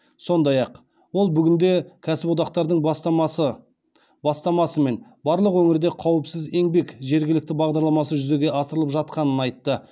сондай ақ ол бүгінде кәсіподақтардың бастамасымен барлық өңірде қауіпсіз еңбек жергілікті бағдарламасы жүзеге асырылып жатқанын айтты